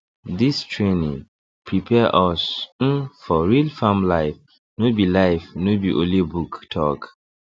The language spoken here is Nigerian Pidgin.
this training prepare us um for real farm life no be life no be only book talk